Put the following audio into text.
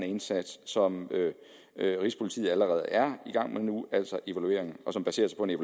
indsats som rigspolitiet allerede er i gang med nu og som baseres på en